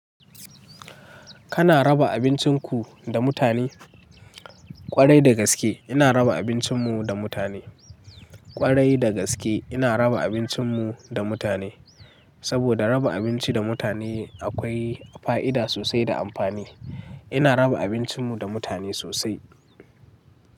Kana raba abincin ku da mutane? Kwarai da gaske ina raba abincinmu da mutane. Kwarai da gaske ina raba abincinmu da mutane. Saboda raba abinci da mutane akwai fa'ida sosai da amfani. Ina raba abincinmu da mutane sosai.